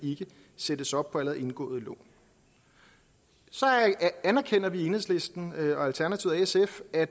sættes op på allerede indgåede lån så anerkender vi i enhedslisten og alternativet og sf at